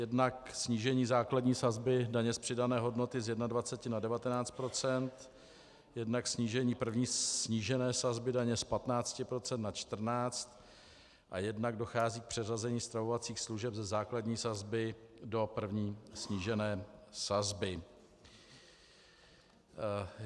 Jednak snížení základní sazby daně z přidané hodnoty z 21 na 19 %, jednak snížení první snížené sazby daně z 15 na 14 % a jednak dochází k přeřazení stravovacích služeb ze základní sazby do první snížené sazby.